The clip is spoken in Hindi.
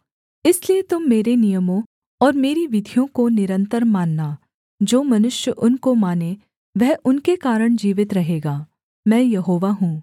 इसलिए तुम मेरे नियमों और मेरी विधियों को निरन्तर मानना जो मनुष्य उनको माने वह उनके कारण जीवित रहेगा मैं यहोवा हूँ